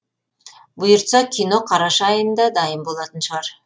бұйыртса кино қараша айында дайын болатын шығар